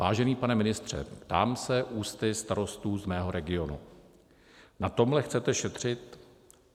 Vážený pane ministře, ptám se ústy starostů z mého regionu: Na tomhle chcete šetřit?